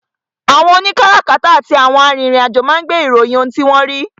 àwọn òní kárakáta àti àwọn arìnrìn-àjò máa ń gbé ìròyìn ohun tí wọ́n rí.